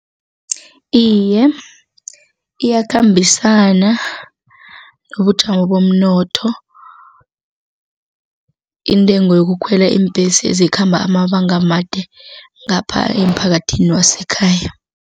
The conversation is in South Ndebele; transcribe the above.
Iye, iyakhambisana nobujamo bomnotho intengo yokukhwela iimbhesi ezikhamba amabanga amade ngapha emphakathini wasekhaya.